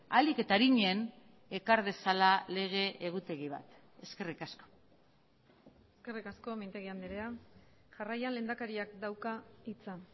ahalik eta arinen ekar dezala lege egutegi bat eskerrik asko eskerrik asko mintegi andrea jarraian lehendakariak dauka hitza